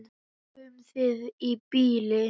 Nóg um það í bili.